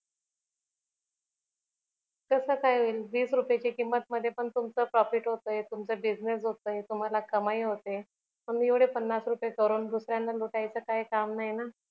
कस काय होईल वीस रुपयच्या किंमत मध्ये पण तुमच profit होतय तुमचा business होतोय तुम्हाला कमाई होतेय आम्ही एवढे पन्नास रुपये करून दुसऱ्याला लुटायचं काही काम नाही ना